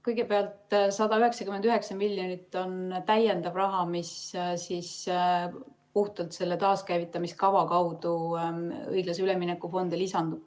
Kõigepealt, 199 miljonit on täiendav raha, mis puhtalt selle taaskäivitamise kava kaudu õiglase ülemineku fondi lisandub.